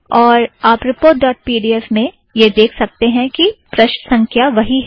और आप report dot P D F में यह देख सकते हैं कि प्रष्ठ संख्या वही है